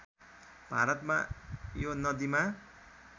भारतमा यो नदिमा